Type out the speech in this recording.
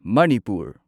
Manipur